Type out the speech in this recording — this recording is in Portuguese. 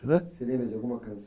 Você lembra de alguma can